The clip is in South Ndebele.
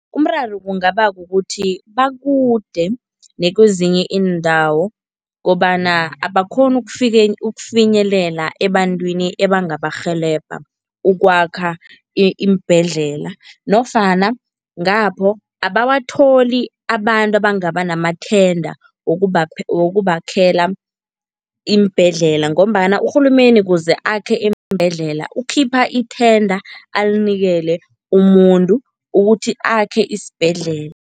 Umraro kungaba kukuthi bakude nakwezinye iindawo kobana abakghoni ukufinyelela ebantwini ebangabarhelebha ukwakha iimbhedlela nofana ngapho abawatholi abantu abangaba namathenda wokubakhela iimbhedlela ngombana urhulumeni kuze akhe iimbhedlela ukhipha ithenga alinikele umuntu ukuthi akhe isibhedlela.